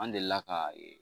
An delila ka